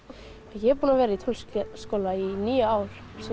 ég er búin að vera í tónlistarskóla í níu ár